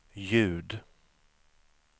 ljud